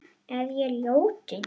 Er ég ljótur?